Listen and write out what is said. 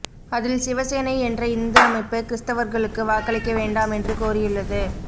அதில் சிவசேனை என்ற இந்து அமைப்பு கிறிஸ்தவர்களுக்கு வாக்களிக்க வேண்டாமென்று கோரியுள்ளது